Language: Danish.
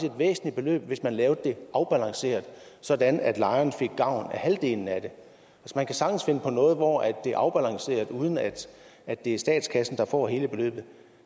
et væsentligt beløb hvis man lavede det afbalanceret sådan at lejerne fik gavn af halvdelen af det man kan sagtens finde på noget hvor det er afbalanceret uden at at det er statskassen der får hele beløbet